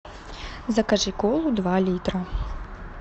закажи колу два литра